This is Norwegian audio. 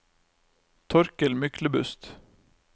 Torkel Myklebust